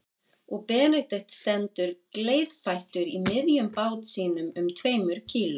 Og Benedikt stendur gleiðfættur í miðjum bát sínum um tveimur kíló